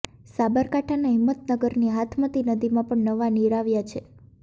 સાબરકાંઠાના હિંમતનગરની હાથમતી નદીમાં પણ નવાં નીર આવ્યા છે